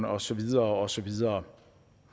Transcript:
og så videre og så videre